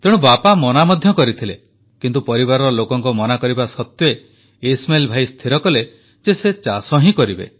ତେଣୁ ବାପା ମନା ମଧ୍ୟ କରିଥିଲେ କିନ୍ତୁ ପରିବାର ଲୋକଙ୍କ ମନା କରିବା ସତ୍ୱେ ଇସ୍ମାଇଲ୍ ଭାଇ ସ୍ଥିର କଲେ ଯେ ସେ ଚାଷ ହିଁ କରିବେ